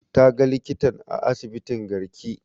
Ta ga likitar a asibitin garki